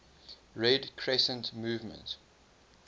red crescent movement